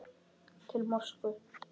Til Moskvu